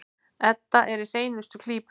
Edda er í hreinustu klípu.